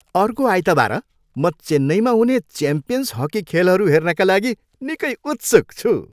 अर्को आइतवार म चेन्नईमा हुने च्याम्पियन्स हकी खेलहरू हेर्नका लागि निकै उत्सुक छु।